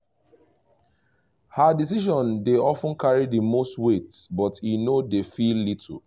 her decision dey of ten carry the most weight but he no dey feel little